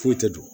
Foyi tɛ dun